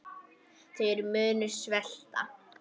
Þeir munu svelta.